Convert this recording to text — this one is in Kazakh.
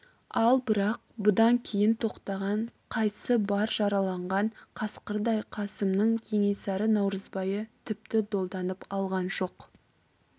ал бірақ бұдан кейін тоқтаған қайсы бар жараланған қасқырдай қасымның кенесары наурызбайы тіпті долданып алған жоқ